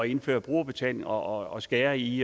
indføre brugerbetaling og og skære i